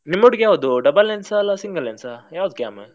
ನಿಮ್ಮ ಒಟ್ಟಿಗೆ ಇರುವುದು ಯಾವ್ದು double lens ಇಲ್ಲ single lens ಆ ಯಾವ್ದ್ camera ?